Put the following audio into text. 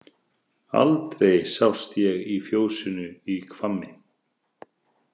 Aldrei sást ég í fjósinu í Hvammi.